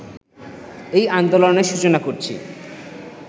এই আন্দোলনের সূচনা করছি